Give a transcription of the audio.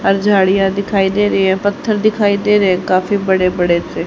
और झाड़ियां दिखाई दे रही है पत्थर दिखाई दे रहें हैं काफी बड़े बड़े से--